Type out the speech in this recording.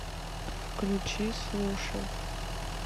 включи слуши